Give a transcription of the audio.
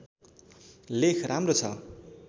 लेख राम्रो छ